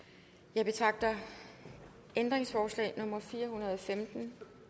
jeg betragter ændringsforslag nummer fire hundrede og femten